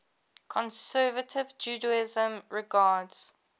conservative judaism regards